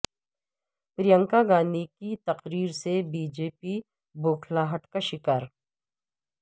پرینکا گاندھی کے تقرر سے بی جے پی بوکھلاہٹ کا شکار